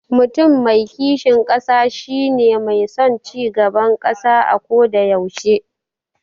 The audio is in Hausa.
Mutum mai kishin ƙasa shi ne mai son cigaban ƙasa ako da yaushe.